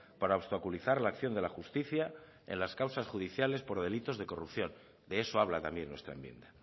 para obstaculizar la acción de la justicia en las causas judiciales por delitos de corrupción de eso habla también nuestra enmienda